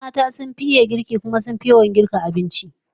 Yawanci mata suka fi iya girki, kuma suka fi yawan yin girkin abinci